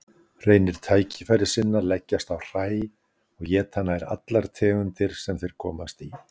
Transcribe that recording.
Hreinir tækifærissinnar leggjast á hræ og éta nær allar tegundir sem þeir komast í.